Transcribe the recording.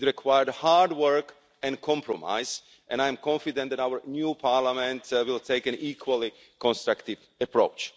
It required hard work and compromise and I am confident that our new Parliament will take an equally constructive approach.